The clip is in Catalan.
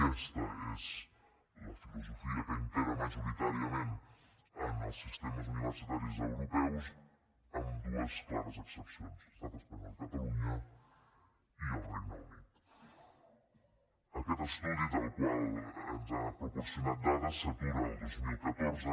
aquesta és la filosofia que impera majoritàriament en els sistemes universitaris europeus amb dues clares excepcions estat espanyol i catalunya i el regne unitaquest estudi del qual ens ha proporcionat dades s’atura el dos mil catorze